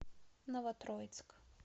новотроицк